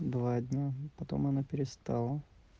два дня потом она перестала